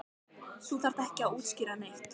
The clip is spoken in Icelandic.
Þú þarft ekki að útskýra neitt.